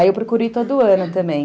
Aí eu procuro ir todo ano também.